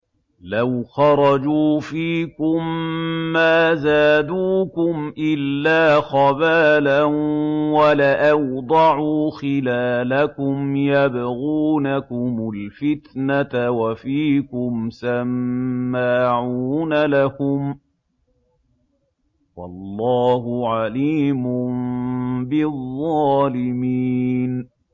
لَوْ خَرَجُوا فِيكُم مَّا زَادُوكُمْ إِلَّا خَبَالًا وَلَأَوْضَعُوا خِلَالَكُمْ يَبْغُونَكُمُ الْفِتْنَةَ وَفِيكُمْ سَمَّاعُونَ لَهُمْ ۗ وَاللَّهُ عَلِيمٌ بِالظَّالِمِينَ